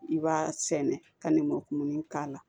I b'a sɛnɛ ka nɛmɔkumuni k'a la